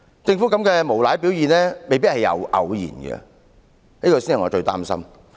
政府這種無賴的表現未必是出於偶然，這才是我最擔心之處。